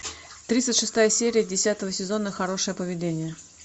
тридцать шестая серия десятого сезона хорошее поведение